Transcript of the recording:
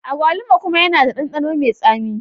Agwaluma kuma yana da ɗanɗano mai tsami.